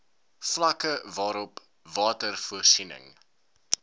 vlakke waarop watervoorsiening